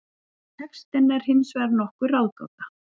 Textinn er hins vegar nokkur ráðgáta.